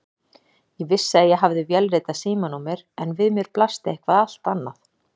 Ég vissi að ég hafði vélritað símanúmer en við mér blasti eitthvað allt annað.